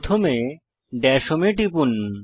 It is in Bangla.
প্রথমে দাশ হোম এ টিপুন